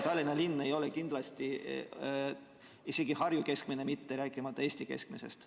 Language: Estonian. Tallinna linn ei ole kindlasti isegi Harju keskmine mitte, rääkimata Eesti keskmisest.